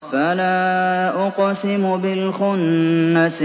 فَلَا أُقْسِمُ بِالْخُنَّسِ